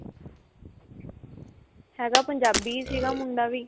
ਹੈਗਾ ਪੰਜਾਬੀ ਸੀਗਾ ਮੁੰਡਾ ਵੀ